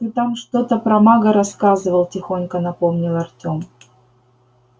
ты там что-то про мага рассказывал тихонько напомнил артём